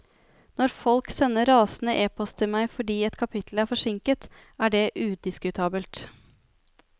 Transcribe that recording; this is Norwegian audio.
Når folk sender rasende epost til meg fordi et kapittel er forsinket, er det udiskutabelt.